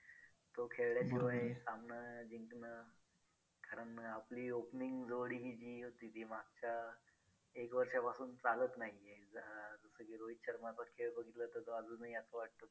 तो खेळल्याशिवाय सामना जिंकणं कारण आपली opening जोडी ही होती ती मागच्या एक वर्षापासून चालत नाही आहे. अं म्हणजे रोहित शर्माचा खेळ बघितला तर तो अजूनही असं वाटतं